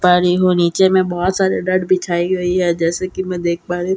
नीचे में बहुत सारे डट बिछाये गए हैं जैसे की मैं देख पा रही हूँ --